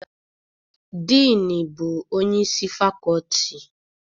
Diini bụ onyeisi fakọọtị.